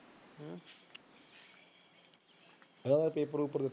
ਹਾਂ ਪੇਪਰ ਪੁਪਰ ਦਿੱਤਾ